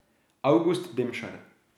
Avgust Demšar.